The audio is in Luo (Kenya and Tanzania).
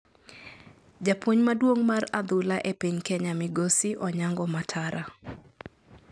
Japuonj maduong mar adhula e piny Kenya migosi Onyango Matara,